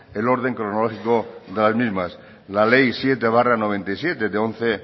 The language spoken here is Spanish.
el orden cronológico de las mismas la ley siete barra noventa y siete